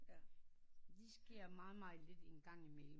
Det sker meget meget lidt engang i mellem